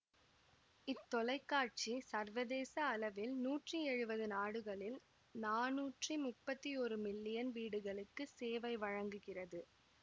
இத் தொலைகாட்சி சர்வதேச அளவில் நூற்றி எழுவது நாடுகளில் நானூற்றி முப்பத்தி ஒரு மில்லியன் வீடுகளுக்குச் சேவை வழங்குகிறது